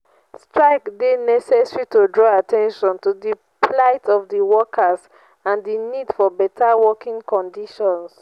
strike dey necessary to draw at ten tion to di plight of di workers and di need for beta working conditions.